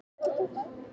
Sjá greinargerðina hér